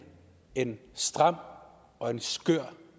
en stram og en skør